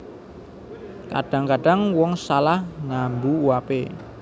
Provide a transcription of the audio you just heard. Kadhang kadhang wong salah ngambu uape